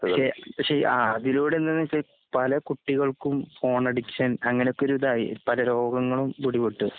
പക്ഷെ പക്ഷെഅഅതിലൂടെ എന്തെന്നുവെച്ചാ പലകുട്ടികൾക്കും ഫോൺഡിക്ഷൻ അങ്ങനെയൊക്കിരിതായി. പലരോഗങ്ങളുംപിടിപെട്ടു.